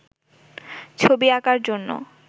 ছবি আঁকার জন্য